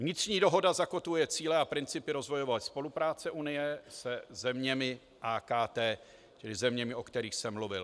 Vnitřní dohoda zakotvuje cíle a principy rozvojové spolupráce Unie se zeměmi AKT, čili zeměmi, o kterých jsem mluvil.